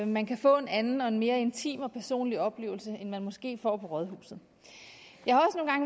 man kan få en anden og en mere intim og personlig oplevelse end man måske får på rådhuset jeg